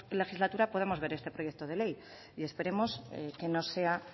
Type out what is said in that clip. legislatura podamos ver este proyecto de ley y esperemos que no sea